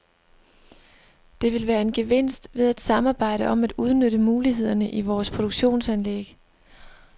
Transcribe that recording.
Der vil være en gevinst ved at samarbejde om at udnytte mulighederne i vores produktionsanlæg.